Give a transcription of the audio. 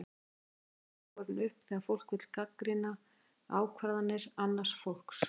Líklega er hún oftast borin upp þegar fólk vill gagnrýna ákvarðanir annars fólks.